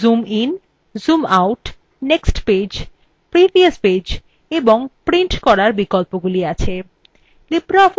এখানে zoom in zoom out next page previous page এবং print করার বিকল্পগুলি আছে